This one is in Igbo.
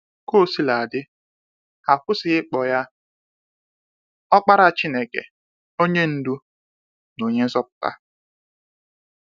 Ka osila dị, ha kwụsịghị ịkpọ ya Ọkpara Chineke, onye ndu, na onye nzọpụta.